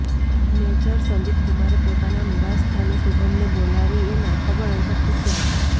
major સંદીપકુમારે પોતાના નિવાસસ્થાને શુભમને બોલાવી એના ખબરઅંતર પૂછ્યા હતા